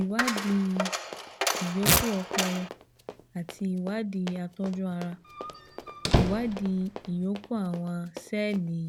ìwádìí ìyókù ọpọlọ àti ìwádìí àtọ́jú ara ìwádìí ìyókù àwọn sẹ́ẹ̀lì